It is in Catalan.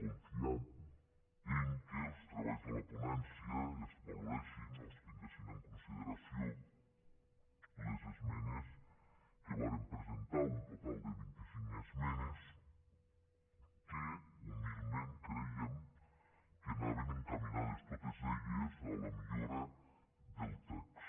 con fiant que als treballs de la ponència es valoressin o es tinguessin en consideració les esmenes que vàrem presentar un total de vint i cinc esmenes que humilment crèiem que anaven encaminades totes elles a la millora del text